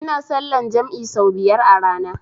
Ina sallan jam'i sau biyar a rana